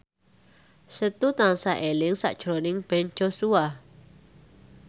Setu tansah eling sakjroning Ben Joshua